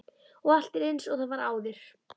Og allt er einsog það var áður.